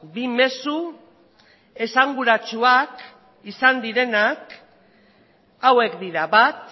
bi mezu esanguratsuak izan direnak hauek dira bat